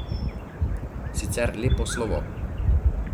Sicer lepo slovo.